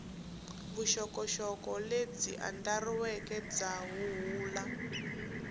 vuxokoxoko lebyi andlariweke bya huhula